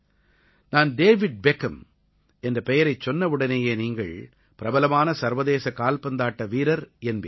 நான் David Beckham என்ற பெயரைச் சொன்னவுடனேயே நீங்கள் பிரபலமான சர்வதேச கால்பந்தாட்ட வீரர் என்பீர்கள்